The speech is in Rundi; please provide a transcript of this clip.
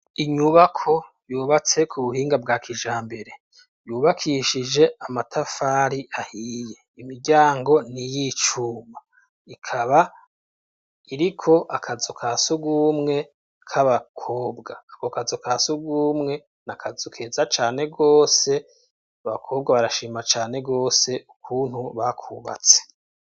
Inyubako yubatse ku buhinga bwa kijambere, yubakishije amatafari ahiye imiryango niyicuma ikaba iriko akazu kasugumwe k'abakobwa ako kazu kasugumwe nakazu keza cane gose abakobwa barashima cane gose ukuntu bakubatse.